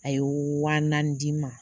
A ye wa naani di ma